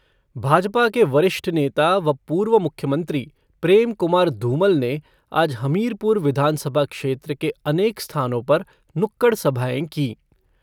भाजपा के वरिष्ठ नेता व पूर्व मुख्यमंत्री प्रेम कुमार धूमल ने आज हमीरपुर विधानसभा क्षेत्र के अनेक स्थानों पर नुक्कड़ सभाएं कीं।